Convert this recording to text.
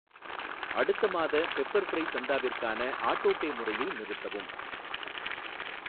அடுத்த மாத pepper fry சந்தாவிற்கான ஆட்டோபே முறையை நிறுத்தவும்.